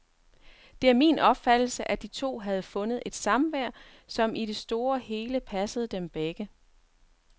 Det er min opfattelse, at de to havde fundet et samvær, som i det store hele passede dem begge.